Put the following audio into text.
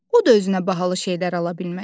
O da özünə bahalı şeylər ala bilməz.